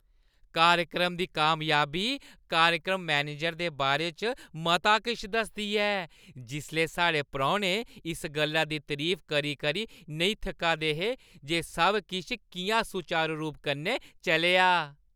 कार्यक्रम दी कामयाबी कार्यक्रम मैनेजर दे बारे च मता किश दसदी ऐ जिसलै साढ़े परौह्‌ने इस गल्ला दी तरीफ करी-करी नेईं थक्का दे हे जे सब किश किʼयां सुचारू रूप कन्नै चलेआ।